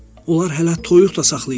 Onlar hələ toyuq da saxlayırlar.